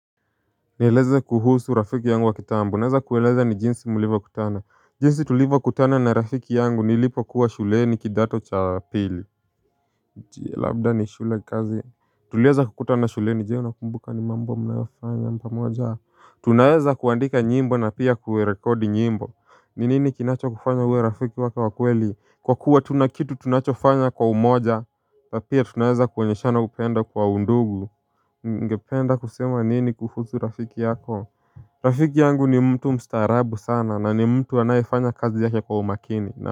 Nieleze kuhusu rafiki yangu wa kitambo. Unaeza kueleza jinsi mlivyokutana. Jinsi tulivyokutana na rafiki yangu nilipokuwa shuleni kidato cha pili. Je, labda ni shule, kazi Tulieza kukutana shuleni. Je unakumbuka ni mambo mnaifanya pamoja? Tunaeza kuandika nyimbo na pia kuerekodi nyimbo. Ni nini kinacho kufanya uwe rafiki wake wa kweli? Kwa kuwa tuna kitu tunachofanya kwa umoja na pia tunaeza kuonyeshana upendo kwa undugu Ungependa kusema nini kuhusu rafiki yako? Rafiki yangu ni mtu mstaarabu sana na ni mtu anayefanya kazi yake kwa umakini na.